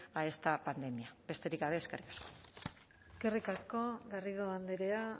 a esta pandemia besterik gabe eskerrik asko eskerrik asko garrido andrea